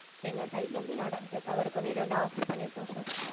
எங்க side ல வந்து நடந்த தவறுக்கு வந்து இத வந்து offer பண்ணியிருக்கோம் sir.